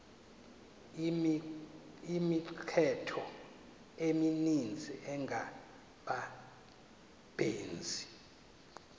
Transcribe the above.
imithqtho emininzi engabaqbenzi